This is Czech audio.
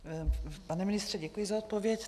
Pane ministře, děkuji za odpověď.